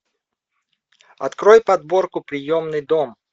открой подборку приемный дом